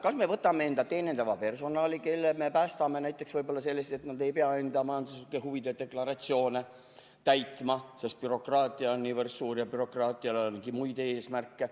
Kas me võtame enda teenindava personali, kelle me päästame võib-olla sellest, et nad ei pea enda majanduslike huvide deklaratsioone täitma, sest bürokraatia on niivõrd suur ja bürokraatial on muidki eesmärke.